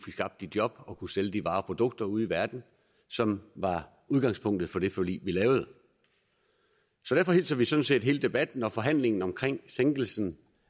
skabt de job og kunne sælge de varer og produkter ude i verden som var udgangspunktet for det forlig vi lavede så derfor hilser vi sådan set hele debatten og forhandlingen om sænkelsen